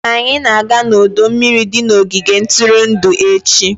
Anyị na-aga n'ọdọ mmiri di na ogige ntụrụndụ echi.